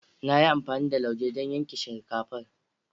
Na yi amfani da lauje don yanke shinkafar.